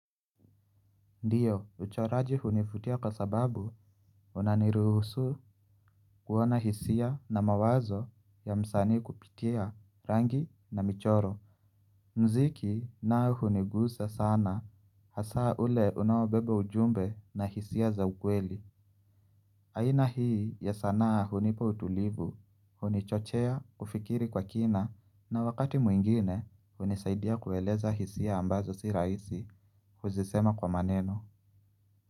Ndiyo uchoraji hunivutia kwa sababu unaniruhusu kuona hisia na mawazo ya msani kupitia rangi na michoro. Mziki nayo hunigusa sana hasa ule unaobeba ujumbe na hisia za ukweli. Aina hii ya sanaa hunipa utulivu hunichochea ufikiri kwa kina na wakati mwingine hunisaidia kueleza hisia ambazo si raisi kuzisema kwa maneno.